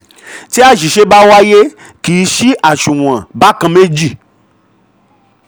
tí aṣìṣe bá wa a yẹ yẹ kí ṣí aṣunwon bákàn-méjì.